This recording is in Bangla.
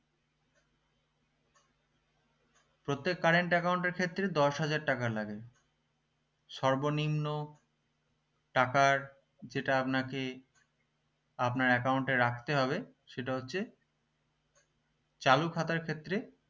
প্রত্যেক current account এর ক্ষেত্রে দশ হাজার টাকা লাগে সর্বনিম্ন টাকার যেটা আপনাকে আপনার account এ রাখতে হবে সেটা হচ্ছে চালু খাতার ক্ষেত্রে